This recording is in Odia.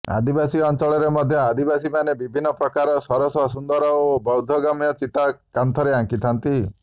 ଆଦିବାସୀ ଅଞ୍ଚଳରେ ମଧ୍ୟ ଆଦିବାସୀମାନେ ବିଭିନ୍ନ ପ୍ରକାର ସରସ ସୁନ୍ଦର ଓ ବୋଧଗମ୍ୟ ଚିତା କାନ୍ଥରେ ଆଙ୍କିଥାନ୍ତି